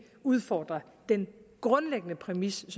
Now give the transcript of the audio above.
udfordrer den grundlæggende præmis